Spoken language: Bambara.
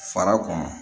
Fara kɔnɔ